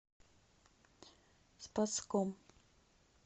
спасском